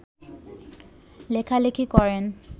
লেখালেখি করেন